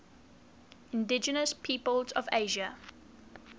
indigenous peoples of asia